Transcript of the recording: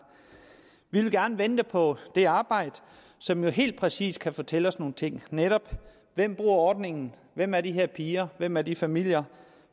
vi vil gerne vente på det arbejde som jo helt præcis kan fortælle os nogle ting hvem bruger ordningen hvem er de her piger hvem er de her familier